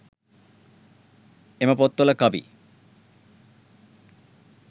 එම පොත්වල කවි